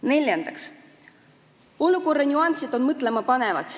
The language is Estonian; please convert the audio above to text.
Neljandaks, olukorra nüansid on mõtlema panevad.